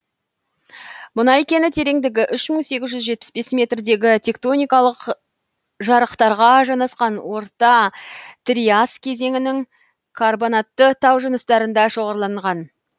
мұнай кені тереңдігі үш мың сегіз жүз жетпіс бес метрдегі тектоникалық жарықтарға жанасқан орта триас кезеңінің карбонатты тау жыныстарында шоғырланған